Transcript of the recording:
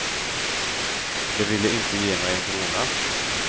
De ville inte ge mig en krona.